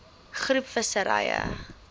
groep visserye